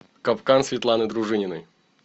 капкан светланы дружининой